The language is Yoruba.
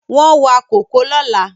Wọ́n wa kòkó lọ́la